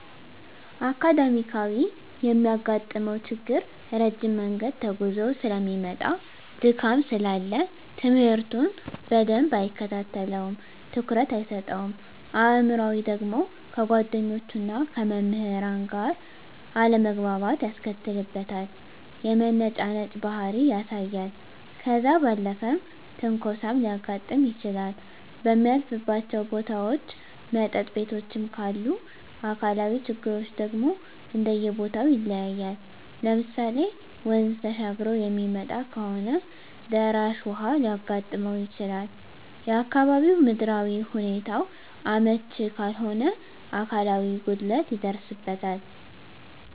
አካዳሚካያዊ የሚያጋጥመው ችግር ረጅም መንገድ ተጉዞ ሰለሚመጣ ድካም ስላለ ትምህርቱን በደንብ አይከታተለውም ትኩረት አይሰጠውም። አእምሯዊ ደግሞ ከጓደኞቹና ከመምህራን ጋር አለመግባባት ያስከትልበታል የመነጫነጭ ባህሪ ያሳያል። ከዛ ባለፈም ትንኮሳም ሊያጋጥም ይችላል በሚያልፍባቸው ቦታዎች መጠጥ ቤቶችም ካሉ። አካላዊ ችግሮች ደግሞ እንደየቦተው ይለያያል ለምሳሌ ወንዝ ተሻግሮ የሚመጣ ከሆነ ደራሽ ውሀ ሊያጋጥመው ይችላል፣ የአካባቢው ምድራዊ ሁኔታው አመች ካልሆነ አካላዊ ጉድለት ይደርስበታል።